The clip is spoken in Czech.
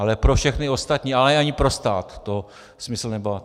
Ale pro všechny ostatní, ale ani pro stát to smysl nemá.